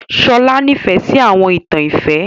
Shola nìfẹ si àwọn ìtan ìfẹ.